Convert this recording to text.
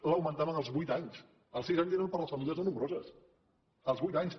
l’augmentaven als vuit anys els sis anys eren per a les famílies no nombroses als vuit anys